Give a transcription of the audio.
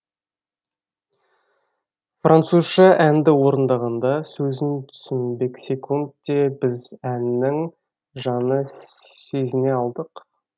французша әнді орындағанда сөзін түсінбесекунд те біз әннің жаны сезіне алдық